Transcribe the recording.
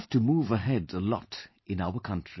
We have to move ahead a lot, in our country